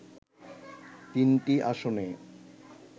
তিনটি আসনে